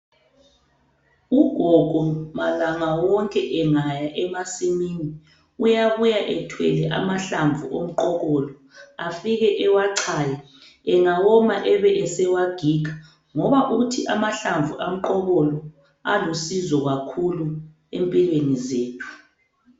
Ugogo malanga wonke engaya emasimini uyabuya ethwele amahlamvu omqokolo. Afike ewachaya ,engawoma ebesewagiga ngoba uthi amahlamvu omqokolo alusizo kakhulu empilweni zethu.